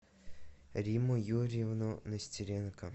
римму юрьевну нестеренко